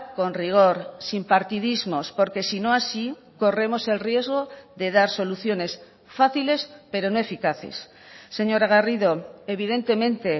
con rigor sin partidismos porque si no así corremos el riesgo de dar soluciones fáciles pero no eficaces señora garrido evidentemente